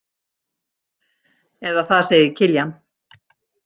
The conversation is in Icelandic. Eða það segir Kiljan.